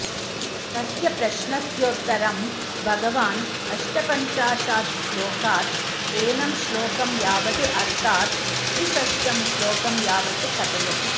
तस्य प्रश्नस्योत्तरं भगवान् अष्टपञ्चाशात् श्लोकात् एनं श्लोकं यावद् अर्थात् त्रिषष्टं श्लोकं यावत् कथयति